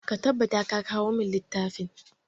Ka tabbata ka kawo mun littafin!